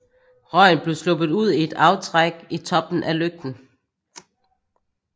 Røgen blev sluppet ud i et aftrækk i toppen af lygten